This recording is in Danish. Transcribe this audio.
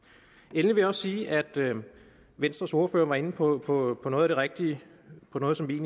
endelig vil jeg sige at venstres ordfører var inde på på noget af det rigtige og på noget som vi